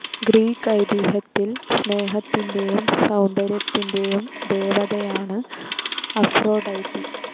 Greek ഐതീഹ്യത്തിൽ സ്നേഹത്തിൻ്റെയും സൗന്ദര്യത്തിൻ്റെയും ദേവതയാണ് അഫ്രൊഡൈറ്റി.